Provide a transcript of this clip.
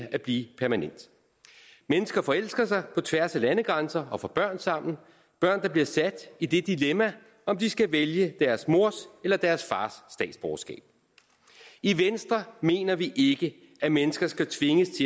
at blive permanent mennesker forelsker sig på tværs af landegrænser og får børn sammen børn der bliver sat i det dilemma om de skal vælge deres mors eller deres fars statsborgerskab i venstre mener vi ikke at mennesker skal tvinges